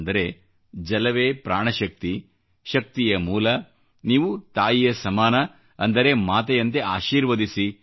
ಅಂದರೆ ಜಲವೇ ಪ್ರಾಣ ಶಕ್ತಿ ಶಕ್ತಿಯ ಮೂಲ ನೀವು ತಾಯಿಯ ಸಮಾನ ಅಂದರೆ ಮಾತೆಯಂತೆ ಆಶೀರ್ವದಿಸಿ